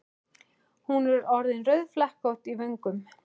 Hún er orðin rauðflekkótt í vöngum.